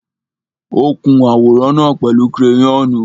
Ó kun àwòrán náà pẹ̀lú kereyọ́nù.